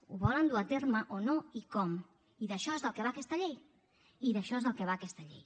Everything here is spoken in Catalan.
ho volen dur a terme o no i com i d’això és del que va aquesta llei i d’això és del que va aquesta llei